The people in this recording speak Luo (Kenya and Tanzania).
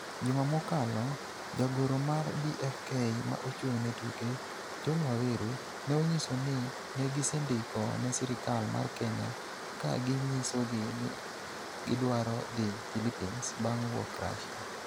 Juma mokalo, jagoro mar BFK ma ochung' ne tuke, John Waweru, ne onyiso ni ne gisendiko ne sirkal mar Kenya ka ginyisogi ni gidwaro dhi Philippines bang' wuok Russia.